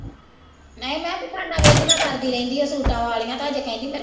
ਨਹੀਂ ਮੈਂ ਦੁਕਾਨਾਂ ਵਿਹਲੀਆਂ ਕਰਦੀ ਰਹਿੰਦੀ ਹੈ ਸੂਟਾਂ ਵਾਲੀਆਂ ਤਾਂ ਅੱਜ ਕਹਿੰਦੇ ਮੇਰੇ